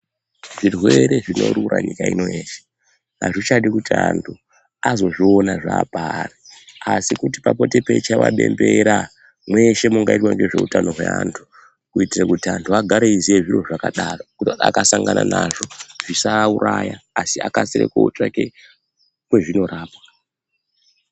Zvirwere zvinorura nyika ino yeshe azvichadi kuti antu azozviona zvapari asi kuti papote peichaiwa bembera mweshe mungaitwa ngezveutano hweantu kuitire kuti antu agare eiziya zviro zvakadaro kuitira kuti akasangana nazvo zvisaauraya asi akasire kutsvake kwezvinorapwa.